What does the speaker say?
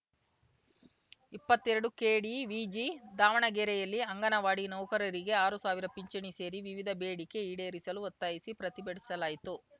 ಇಪ್ಪತ್ತೆರಡುಕೆಡಿವಿಜಿ ದಾವಣಗೆರೆಯಲ್ಲಿ ಅಂಗನವಾಡಿ ನೌಕರರಿಗೆ ಆರು ಸಾವಿರ ಪಿಂಚಣಿ ಸೇರಿ ವಿವಿಧ ಬೇಡಿಕೆ ಈಡೇರಿಸಲು ಒತ್ತಾಯಿಸಿ ಪ್ರತಿಭಟಿಸಲಾಯಿತು